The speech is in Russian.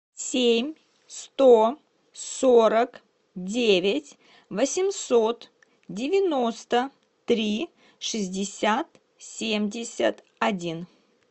семь сто сорок девять восемьсот девяносто три шестьдесят семьдесят один